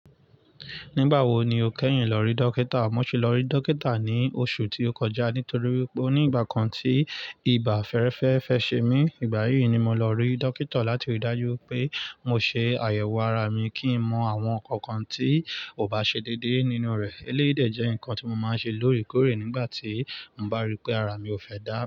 Nígbà wo ni o kẹ́yìn lọ rí dókítà? Mo sì lọ rí dókítà ní oṣù tí ó kọjá nítorí pé ó ní ìgbà kan tí ibà fẹ́ẹ́rẹ́fẹ́ fẹ́ ṣe mí. Ìgbà yíì ni mo lọ rí dókítà láti rí i dájú pé mo ṣe àyẹ̀wò ara mi kí n mọ àwọn nǹkan kan tí ò bá ṣe déédéé nínú rẹ̀. Eléyìí dẹ jẹ́ nǹkan tí mo máa ń ṣe lóòrèkóòrè nígbà tí mo bá rí pé ara mi ò fẹ́ dá.